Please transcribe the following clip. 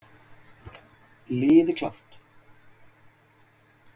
Liði klárt!